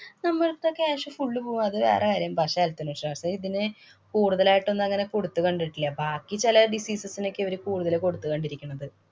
നമ്മളുടെ അടുത്തെ cash full പോവും. അത് വേറെ കാര്യം. പക്ഷേ ശാസം ഇതിന് കൂടുതലായിട്ടൊന്നും അങ്ങനെ കൊടുത്ത് കണ്ടിട്ടില്ല. ബാക്കി ചില diseases നൊക്കെ ഇവര് കൂടുതല് കൊടുത്തു കണ്ടിരിക്കണത്.